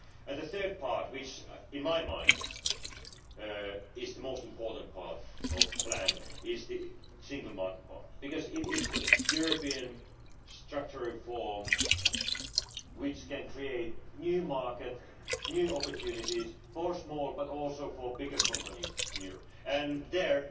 The third part, which in my mind is the most important part of the plan, is the single market part because it is a European structural reform which can create new markets, new opportunities for small but also for bigger companies in Europe, and there